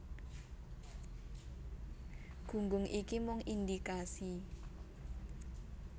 Gunggung iki mung indikasi